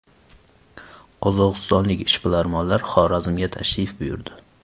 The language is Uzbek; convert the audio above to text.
Qozog‘istonlik ishbilarmonlar Xorazmga tashrif buyurdi.